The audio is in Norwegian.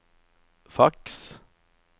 faks